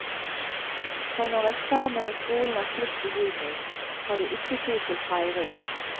For når eksamen og skolen er slutt i juni, har de ikke tid til feiring.